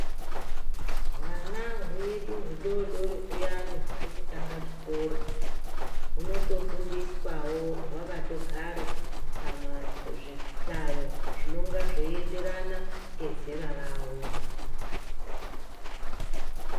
Hwana hwedu hudodori huyana huri kutanga chikoro hunoto fundiswawo hwakato gare pamazvi hlayo zvinonga zvei enderana ngezera ravo.